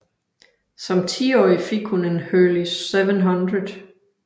Som tiårig fik hun en Hurley 700